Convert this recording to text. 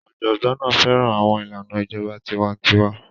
Ọ̀jọ̀gbọ́n náà fẹ́ràn àwọn ìlànà ìjọba tiwa-n-tiwa.